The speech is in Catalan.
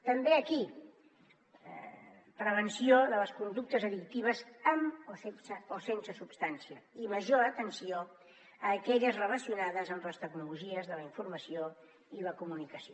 també aquí prevenció de les conductes addictives amb o sense substància i major atenció a aquelles relacionades amb les tecnologies de la informació i la comunicació